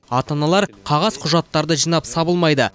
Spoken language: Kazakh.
ата аналар қағаз құжаттарды жинап сабылмайды